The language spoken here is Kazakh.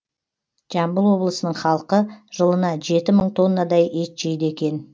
жамбыл облысының халқы жылына жеті мың тоннадай ет жейді екен